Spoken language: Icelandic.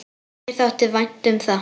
Mér þótti vænt um það.